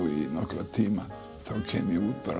í nokkra tíma þá kem ég út bara